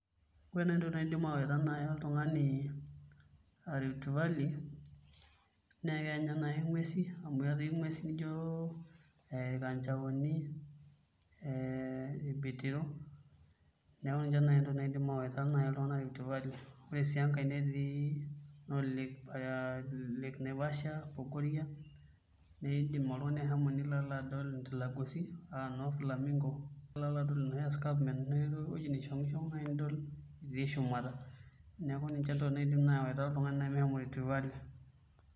Kore naji intokitin naidim ayawu naa oltungani rift valley nekeya ninye nai inguesi amu ketii enguesi nijo ee ilkanjaoni, ee ilbitiro neeku ninche nai ntokitin naidim awaita iltungana rift valley ore sii enkae netii noo lake naivasha, bogoria nidim oltungani ashomo nilo adol intilagosi aa noo flamingo nilo alo adol enoshi escarpment enoshi wueji naishongishong nai nidol itii shumata neeku ninche ntokitin naidim awaita iltungani meshomo rift valley.